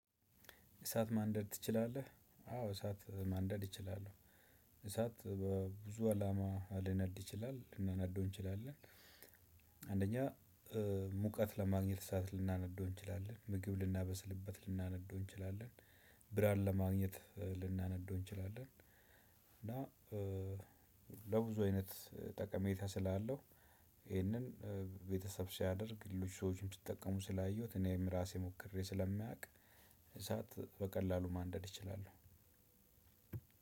እሳት ማንደድ ትችላለህ? አወ እሳት ማንደድ እችላለሁ። እሳት በብዙ አላማ ሊነድ ይችላል ልናነደው እንችላለን። አንደኛ ሙቀት ለማግኘት እሳት ልናነድ እንችላለን ምግብ ልናበስልበት ልናነደው እንችላለን። ብርሃን ለማግኘት ልናነደው እንችላለን። እና ለብዙ አይነት ጠቀሜታ ስላለው ይሄንን ቤተሰብ ሲያደርግ ልጅ ሰዎችም ሲጠቀሙ ስላየሁ እኔም ራሴ ሞክሬ ስለማውቅ። እሳት በቀላሉ ማንደድ እችላለው።